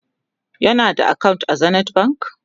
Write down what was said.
kana da akawunt a zenith bank?